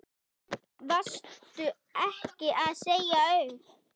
Varstu ekki að segja upp?